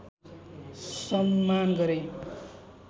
सम्मान गरे